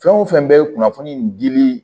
Fɛn o fɛn bɛ kunnafoni in dili